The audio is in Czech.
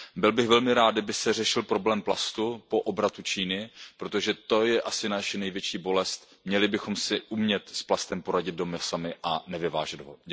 Byl bych velmi rád, kdyby se řešil problém plastu po obratu Číny, protože to je asi naše největší bolest, měli bychom si umět s plastem poradit doma sami a nevyvážet ho.